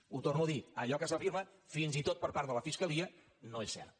ho torno a dir allò que s’afirma fins i tot per part de la fiscalia no és cert